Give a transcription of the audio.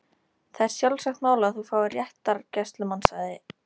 Það er sjálfsagt mál að þú fáir réttargæslumann sagði